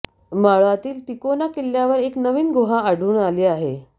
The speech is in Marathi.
मावळातील तिकोना किल्ल्यावर एक नवीन गुहा आढळून आली आहे